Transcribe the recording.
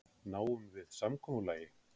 Náum við samkomulagi?